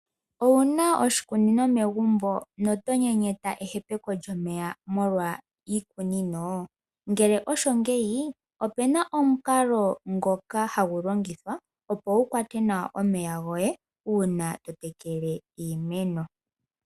Owuna oshikunino megumbo notonyenyeta ehepeko lyomeya molwa iikunino, ngele osho ngeyi opena omunkalo ngoka hangulongithwa opo wukwate nawa omeya goye una totekele iimeno.